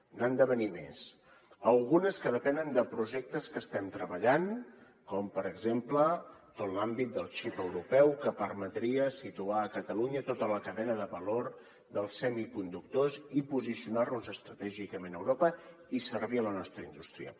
n’han de venir més algunes que depenen de projectes que estem treballant com per exemple tot l’àmbit del xip europeu que permetria situar a catalunya tota la cadena de valor dels semiconductors i posicionar nos estratègicament a europa i servir a la nostra indústria